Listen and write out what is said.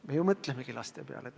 Me ju mõtlemegi laste peale!